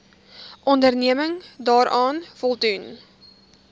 onderneming daaraan voldoen